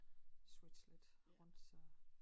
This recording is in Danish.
Switche lidt rundt så